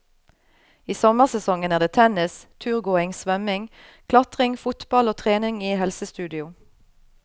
I sommersesongen er det tennis, turgåing, svømming, klatring, fotball og trening i helsestudio.